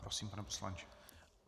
Prosím, pane poslanče.